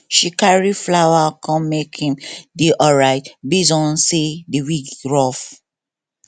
she carry flower come make him dey alright based on say the week rough